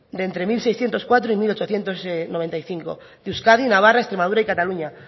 de entre mil seiscientos cuatro y mil ochocientos noventa y cinco de euskadi navarra extremadura y cataluña